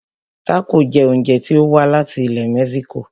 Tácò jẹ oúnjẹ tí o wá láti ilẹ̀ mexico.